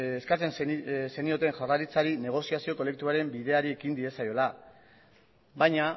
eskatzen zenioten jaurlaritzari negoziazio kolektiboaren bideari ekin diezaiola baina